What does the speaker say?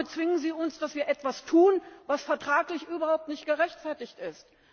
Damit zwingen Sie uns, dass wir etwas tun, was vertraglich überhaupt nicht gerechtfertigt ist.